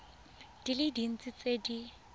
di le dintsi tse di